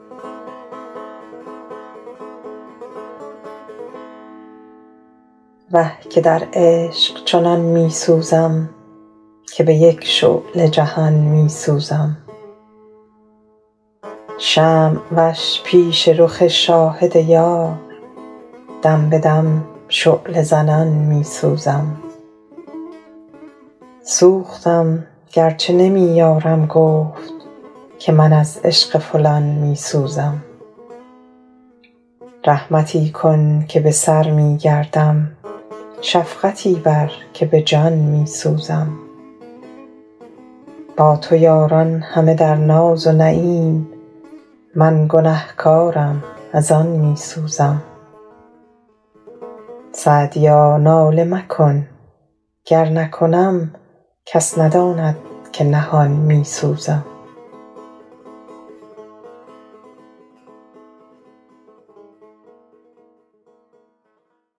وه که در عشق چنان می سوزم که به یک شعله جهان می سوزم شمع وش پیش رخ شاهد یار دم به دم شعله زنان می سوزم سوختم گر چه نمی یارم گفت که من از عشق فلان می سوزم رحمتی کن که به سر می گردم شفقتی بر که به جان می سوزم با تو یاران همه در ناز و نعیم من گنه کارم از آن می سوزم سعدیا ناله مکن گر نکنم کس نداند که نهان می سوزم